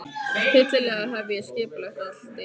Hryllilega hef ég skipulagt allt illa.